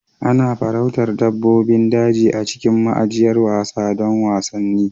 Ana farauta dabbobin daji a cikin ma'ajiyar wasa don wasanni.